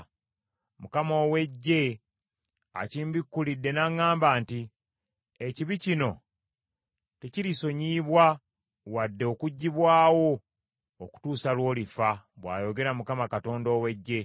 Mukama ow’Eggye akimbikulidde n’aŋŋamba nti, “Ekibi kino tekirisonyiyibwa wadde okuggyibwawo okutuusa lw’olifa,” bw’ayogera Mukama Katonda ow’Eggye.